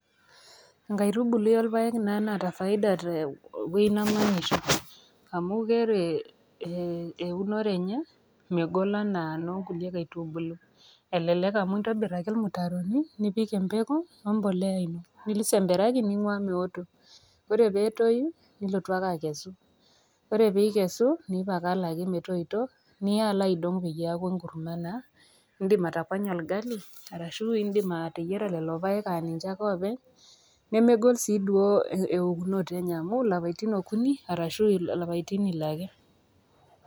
Enkaitubului orpaek naa naata faida tewuei namanya amu ore ee e eunore enye megol anaa nkulie kaitubului, elelek amu intobir ake irmutaroni nipik empeku wembolea nisemberaki nincho meeoto nipik ngalani peetoi ,ore peetoi nilotu ake akesu ore peikesu nincho metoito niya alo iadong metaa enkurma, indim atabanya orgali indim ateyiara lolo paek openy nemegol si duo eokunote enye amu lapatin okuni arashu lapaitin ile ake.